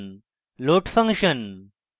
load function